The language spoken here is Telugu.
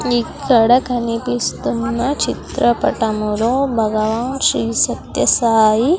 ఇక్కడ కనిపిస్తున్న చిత్రపటము లో భగవాన్ శ్రీ సత్యసాయి--